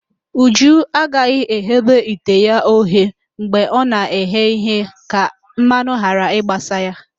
Uju agaghị eghobe ite ya oghe mgbe ọ na-eghe ihe ka mmanụ ghara ịgbasa ya